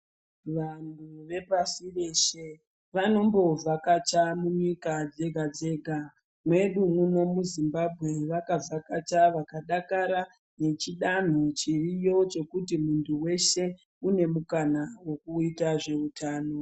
Vanhu vepashireshe vanombovhakacha kunyika dzega-dzega. Mwedu muno muZimbanwe vakavhakacha vakadakara ngechidanho chiriyo chekuti muntu weshe une mukana wekuita zveutano.